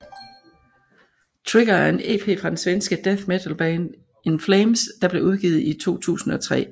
Trigger er en EP fra det svenske death metalband In Flames der blev udgivet i 2003